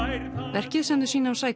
verkið sem þau sýna á